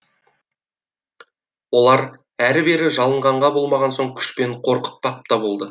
олар әрі бері жалынғанға болмаған соң күшпен қорқытпақ та болды